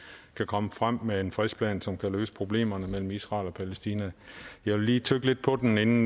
kan komme frem med en frisk plan som kan løse problemerne mellem israel og palæstina jeg vil lige tygge lidt på den